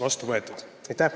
Aitäh!